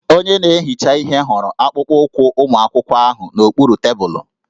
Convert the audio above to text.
Onye na-ehicha ihe hụrụ akpụkpọụkwụ ụmụ akwụkwọ ahụ n'okpuru tebụlụ